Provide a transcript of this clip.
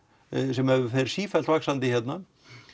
sem fer sífellt vaxandi hérna